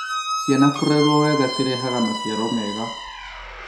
Ciana kũrerwo wega cirehaga maciaro mega